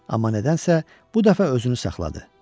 Amma nədənsə bu dəfə özünü saxladı.